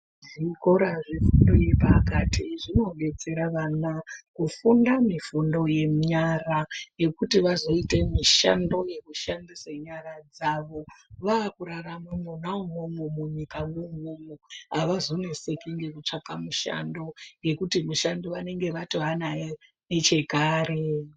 Zvikora zvefundo yepakati zvinodetsera vana kufunda mifundo yenyara yekuti vazoite mishando yekushandise nyara dzavo vakurarama mona umomo munyika moumo-mo, havazoneseki nekutsvake mishando ngekuti mishando vatovenayo nechakare.